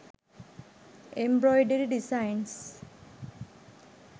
embroidery designs